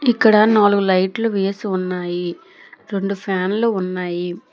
ఇక్కడ నాలుగు లైట్లు వేసి ఉన్నాయి రొండు ఫ్యాన్లు ఉన్నాయి